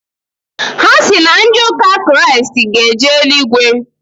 Ha sị na ndị ụka Kraịst ga-eje eluigwe.